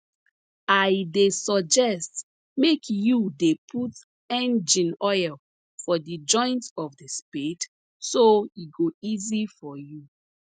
i dey suggest make you dey put engine oil for the joint of the spade so e go easy for you